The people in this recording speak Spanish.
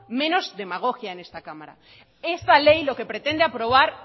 menos demagogia en esta cámara esta ley lo que pretende aprobar